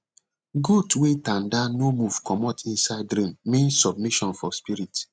goat wey tanda no move comot inside rain mean submission for spirit